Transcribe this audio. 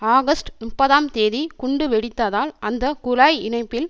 August முப்பதாம் தேதி குண்டு வெடித்ததால் அந்த குழாய் இணைப்பில்